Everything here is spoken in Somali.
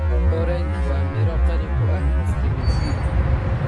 Orange waa miro qani ku ah fitamiin C.